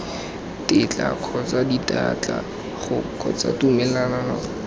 tetla kgotsa ditetla kgotsa tumelelo